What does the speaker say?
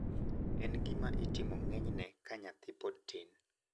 En gima itimo ng`enyne ka nyathi pod tin.